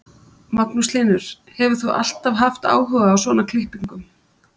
Magnús Hlynur: Hefur þú alltaf haft áhuga á svona klippingum?